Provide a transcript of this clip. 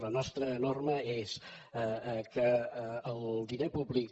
la nostra norma és que el diner públic